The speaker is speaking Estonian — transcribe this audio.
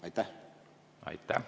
Aitäh!